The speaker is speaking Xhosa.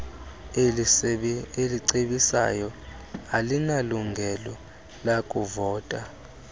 elicebisayo alinalungelo lakuvota